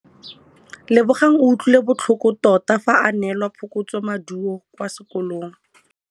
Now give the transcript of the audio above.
Lebogang o utlwile botlhoko tota fa a neelwa phokotsômaduô kwa sekolong.